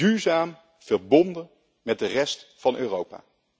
Duurzaam verbonden met de rest van Europa.